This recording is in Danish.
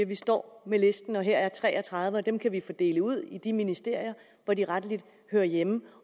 vi står med listen og her er tre og tredive og dem kan vi fordele ud i de ministerier hvor de rettelig hører hjemme